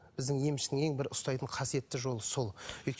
біздің емшінің ең бір ұстайтын қасиетті жолы сол